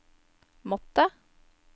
måttet